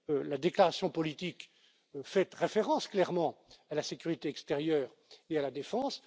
La déclaration politique fait référence clairement à la sécurité extérieure et à la défense.